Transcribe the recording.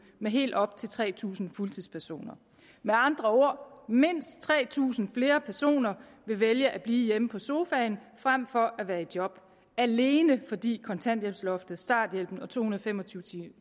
med helt op til tre tusind fuldtidspersoner med andre ord vil mindst tre tusind flere personer vælge at blive hjemme på sofaen frem for at være i job alene fordi kontanthjælpsloftet starthjælpen og to hundrede og fem og tyve